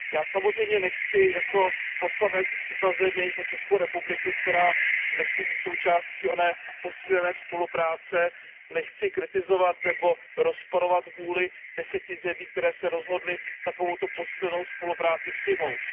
Já samozřejmě nechci, jako poslanec za zemi, za Českou republiku, která nechce být součástí oné posílené spolupráce, kritizovat nebo rozporovat vůli deseti zemí, které se rozhodly takovouto posílenou spolupráci přijmout.